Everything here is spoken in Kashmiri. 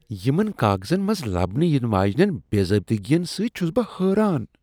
یمن کاغذن منٛز لبنہٕ ینہٕ واجنیٚن بے ضٲبطگین سۭتۍ چھس بہٕ حٲران ۔